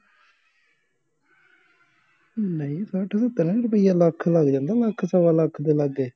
ਨਹੀਂ ਸੱਠ ਸੱਤਰ ਰਪਿਆਂ ਲੱਖ ਲੱਗ ਜਾਂਦਾ ਲੱਖ ਸਵਾ ਲੱਖ ਦੇ ਲਾਗੇ